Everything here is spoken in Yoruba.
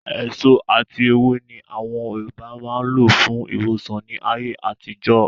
Èso ati èwe ni àwọn Yorùbá máa ń lò fún ìwòsàn ni ayé àtijọ́